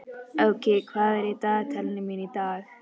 Áki, hvað er í dagatalinu mínu í dag?